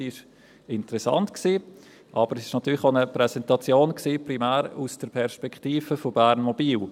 Sie war interessant, aber natürlich primär aus der Perspektive von Bernmobil.